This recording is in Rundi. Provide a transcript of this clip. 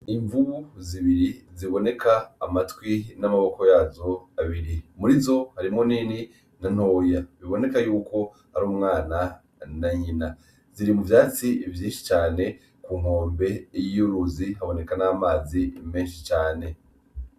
Imvubu zibiri ziboneka amatwi n'amaboko yazo abiri, murizo harimwo nini na ntoya, biboneka yuko ar'umwana na nyina, ziri mu vyatsi vyinshi cane ku nkombe y'uruzi haboneka n'amazi menshi cane.